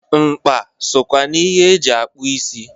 Nkpa sokwa n'ihe e ji akpụ isi.